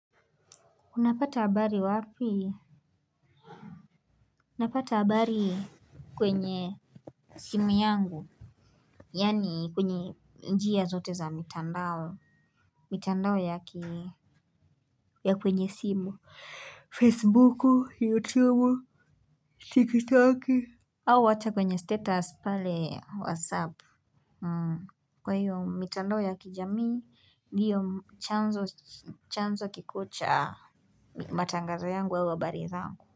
Unapata habari wapi? Napata habari kwenye simu yangu. Yaani kwenye njia zote za mitandao mitandao ya kwenye simu. Facebook YouTube TikTok Au hata kwenye status pale WhatsApp. Kwa hiyo mitandao ya kijamii, hiyo chanzo kikocha matangazo yangu au habari zangu.